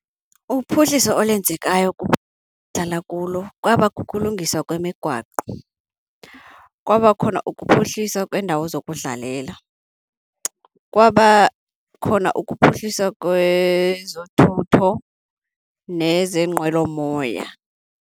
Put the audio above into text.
Uphuhliso olwenzekayo kulo kwaba kukulungiswa kwemigwaqo, kwaba khona ukuphuhliswa kweendawo zokudlalela, kwaba khona ukuphuhliswa kwezothutho nezeenqwelomoya.